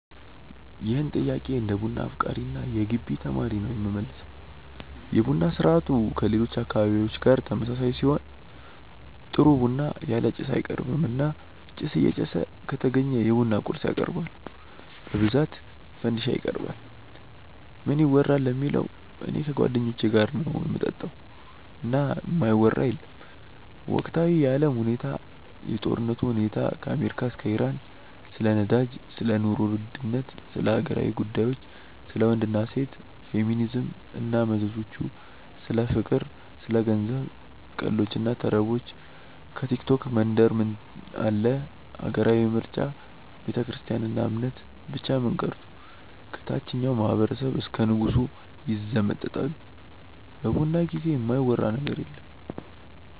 ይህን ጥያቄ እንደ ቡና አፍቃሪ እና የገቢ ተማሪ ነው የምመልሰው። የቡና ስርአቱ ከሌሎች አካባቢዎች ጋር ተመሳሳይ ሲሆን ጥሩ ቡና ያለ ጭስ አይቀርብም እና ጭስ እየጨሰ ከተገኘ የቡና ቁርስ ያቀርባሉ በብዛት ፈንዲሻ ይቀርባል። ምን ይወራል ለሚለው እኔ ከጓደኞቼ ጋር ነው ምጠጣው እና የማይወራ የለም ወቅታዊ የአለም ሁኔታ፣ የጦርነቱ ሁኔታ ከአሜሪካ እስከ ኢራን፣ ስለ ነዳጅ፣ ስለ ኑሮ ውድነት፣ ስለ ሀገራዊ ጉዳዮች፣ ስለ ወንድ እና ሴት፣ ፌሚኒዝም እና መዘዞቹ፣ ስለ ፍቅር፣ ስለ ገንዘብ፣ ቀልዶች እና ተረቦች፣ ከቲክቶክ መንደር ምን አለ፣ ሀገራዊ ምርጫ፣ ቤተክርስትያን እና እምነት፣ ብቻ ምን ቀርቶ ከታቸኛው ማህበረሰብ እስከ ንጉሱ ይዘመጠጣሉ በቡና ጊዜ የማይወራ ነገር የለም።